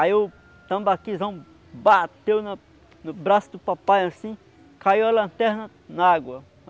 Aí o tambaquizão bateu no no braço do papai, assim, caiu a lanterna na água.